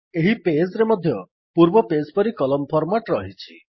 ଏହି ପେଜ୍ ରେ ମଧ୍ୟ ପୂର୍ବ ପେଜ୍ ପରି କଲମ୍ ଫର୍ମାଟ୍ ରହିଛି